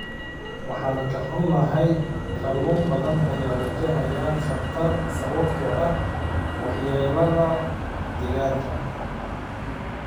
Waan ka xunnahay, kalluun badan ayaa wajahaya khatar sababtoo ah waxyeellada deegaanka.